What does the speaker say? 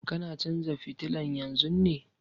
Kana canza fitilan yanzun ne?